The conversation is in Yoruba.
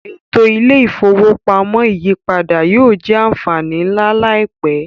Eto ile-ifowopamọ iyipada yoo jẹ anfani nla laipẹ.